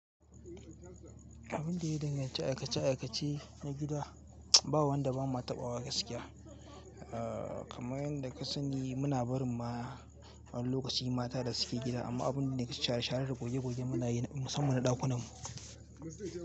Abin da ya danganci aikace aikace na gida, ba wanda ba ma taɓawa gaskiya. Kamar yanda ka sani muna barin ma, wani lokaci mata da suke gida amma abin da nake share share da goge goge muna yi, musamman a ɗakunan mu.